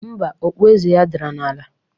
Mba, okpu eze ya dara n'ala